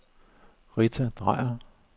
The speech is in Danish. Rita Drejer